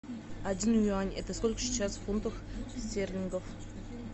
один юань это сколько сейчас в фунтах стерлингов